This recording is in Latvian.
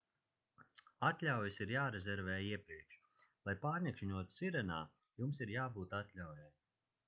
atļaujas ir jārezervē iepriekš lai pārnakšņotu sirenā jums ir jābūt atļaujai